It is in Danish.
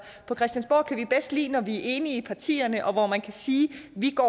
på christiansborg kan vi bedst lide når vi er enige i partierne og når man kan sige vi går